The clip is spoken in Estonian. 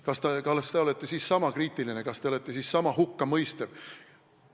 Kas te olete siis niisama kriitiline, kas te olete siis niisama hukkamõistev?